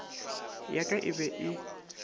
ya ka e be e